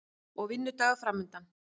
Og vinnudagur framundan.